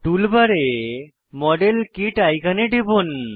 টুল বারে model kit আইকনে টিপুন